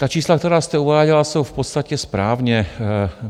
Ta čísla, která jste uváděla, jsou v podstatě správně.